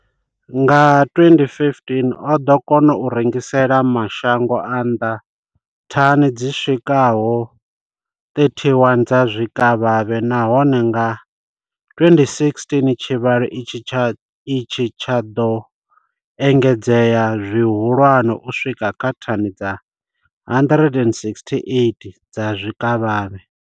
Nga 2015, o ḓo kona u rengisela mashango a nnḓa thani dzi swikaho 31 dza zwikavhavhe, nahone nga 2016 tshivhalo itshi tsho ḓo engedzea zwihulwane u swika kha thani dza 168 dza zwikavhavhe.